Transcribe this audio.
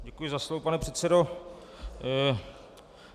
Děkuji za slovo, pane předsedo.